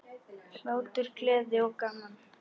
Hlátur, gleði og gaman.